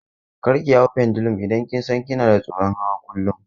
Kar ki hau pendulum idan kin san kina tsoron hawa kawai!